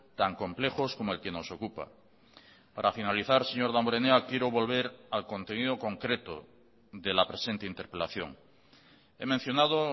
tan complejos como el que nos ocupa para finalizar señor damborenea quiero volver al contenido concreto de la presente interpelación he mencionado